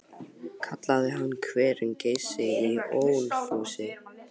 Kallaði hann hverinn Geysi í Ölfusi.